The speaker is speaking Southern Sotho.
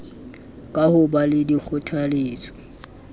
ka ho ba le dikgothaletso